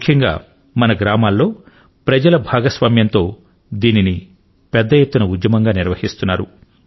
ముఖ్యంగా మన గ్రామాలలో ప్రజల భాగస్వామ్యంతో దీనిని పెద్ద ఎత్తున ఉద్యమంగా నిర్వహిస్తున్నారు